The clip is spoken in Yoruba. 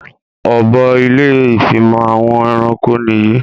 Ọ̀bọ ilé ìfimọ̀ àwọn ẹranko nìyí